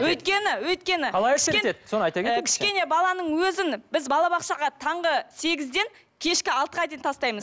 өйткені өйткені кішкене баланың өзін біз балабақшаға таңғы сегізден кешкі алтыға дейін тастаймыз